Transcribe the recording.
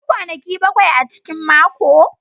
Akwai kwanaki bakwai a cikin mako.